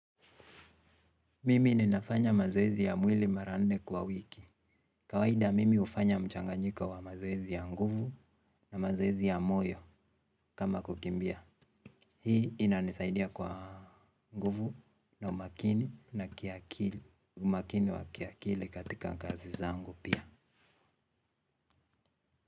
Mimi ninafanya mazoezi ya mwili mara nne kwa wiki. Kawaida mimi hufanya mchanganyiko wa mazoezi ya nguvu na mazoezi ya moyo kama kukimbia. Hii inanisaidia kwa nguvu na umakini na kiakili umakini wa kiakili katika kazi zangu pia.